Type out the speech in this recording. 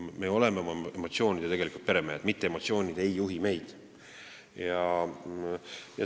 Meie oleme oma emotsioonide peremehed, mitte emotsioonid ei juhi meid.